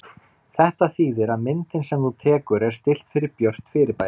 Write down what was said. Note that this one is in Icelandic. Þetta þýðir að myndin sem þú tekur er stillt fyrir björt fyrirbæri.